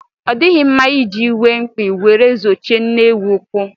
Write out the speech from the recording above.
Ọ dịghị mma iji iwe mkpi were zojie nne ewu úkwú.